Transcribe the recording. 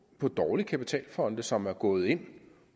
dårlige kapitalfonde som er gået ind